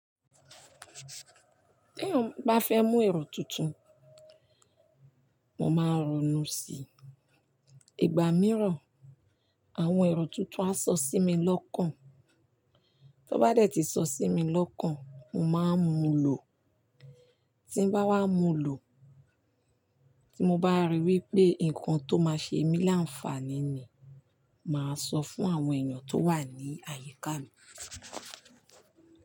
Tí èèyàn bá fẹ́ mú èrò tuntun, mo máa rònú si. Igba mìíràn, àwọn èrò tuntun a sọ sí mi lọ́kàn. Tí ó bá dé tí sọ sí mi lọ́kàn, mo máa múlò. Tí n bá wá múlò, tí mo bá ríi wípé ǹkan tó máa ṣe mí láǹfààní ni, màá sọ fún àwọn ènìyàn tó wà ní àyíká mi.